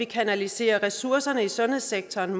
kanaliserer ressourcerne i sundhedssektoren